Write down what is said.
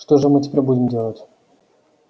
что же мы теперь будем делать